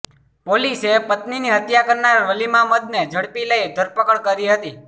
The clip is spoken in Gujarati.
પોલીસે પત્નીની હત્યા કરનાર વલીમામદને ઝડપી લઈ ધરપકડ કરી હતી